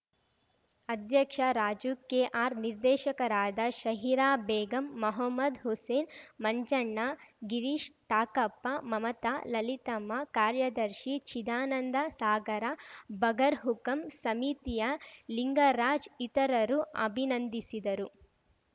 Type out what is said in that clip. ಅಧ್ಯಕ್ಷ ರಾಜುಕೆಆರ್‌ ನಿರ್ದೆಶಕರಾದ ಷಹಿರಾಬೇಗಂ ಮೊಹಮ್ಮದ್‌ ಹುಸೇನ್‌ ಮಂಜಣ್ಣ ಗಿರೀಶ್‌ ಟಾಕಪ್ಪ ಮಮತಾ ಲಲಿತಮ್ಮ ಕಾರ್ಯದರ್ಶಿ ಚಿದಾನಂದ ಸಾಗರ ಬಗರ್‌ಹುಕುಂ ಸಮಿತಿಯ ಲಿಂಗರಾಜ್‌ ಇತರರು ಅಭಿನಂದಿಸಿದರು